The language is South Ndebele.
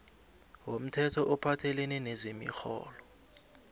womthetho ophathelene nezemirholo